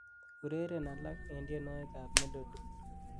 ureren alak en tienwogik ab melody